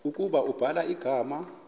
ukuba ubhala igama